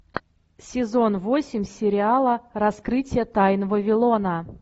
сезон восемь сериала раскрытие тайн вавилона